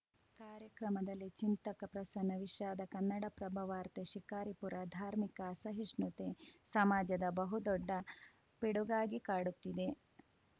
ಕಾರ್ಯಕ್ರಮದಲ್ಲಿ ಚಿಂತಕ ಪ್ರಸನ್ನ ವಿಷಾದ ಕನ್ನಡಪ್ರಭ ವಾರ್ತೆ ಶಿಕಾರಿಪುರ ಧಾರ್ಮಿಕ ಅಸಹಿಷ್ಣುತೆ ಸಮಾಜದ ಬಹು ದೊಡ್ಡ ಪಿಡುಗಾಗಿ ಕಾಡುತ್ತಿದೆ